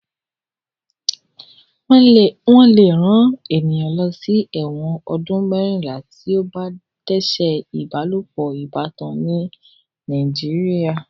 Wọ́n lè rán ènìyàn lọ ẹ̀wọ̀n ọdún mẹ́rìnlá tí ó bá dẹ́ṣẹ̀ ìbálopọ̀ ìbátan ní Nàìjíríà.